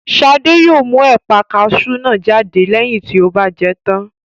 Shade yóò mú ẹ̀pà kasú náà jáde lẹ́yìn tó bá jẹ tán